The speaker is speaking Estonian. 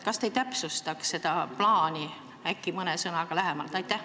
Kas te ei täpsustaks seda plaani mõne sõnaga?